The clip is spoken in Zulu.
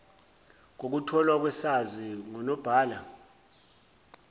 kokutholwa kwesaziso ngunobhala